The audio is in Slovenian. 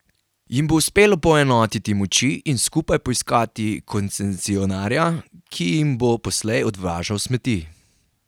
Jim bo uspelo poenotiti moči in skupaj poiskati koncesionarja, ki jim bo poslej odvažal smeti?